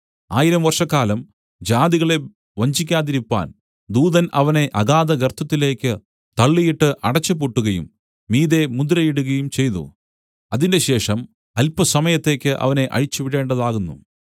ആയിരം വർഷക്കാലം ജാതികളെ വഞ്ചിക്കാതിരിപ്പാൻ ദൂതൻ അവനെ അഗാധഗർത്തത്തിലേക്ക് തള്ളിയിട്ട് അടച്ചുപൂട്ടുകയും മീതെ മുദ്രയിടുകയും ചെയ്തു അതിന്‍റെശേഷം അല്പസമയത്തേക്ക് അവനെ അഴിച്ചുവിടേണ്ടതാകുന്നു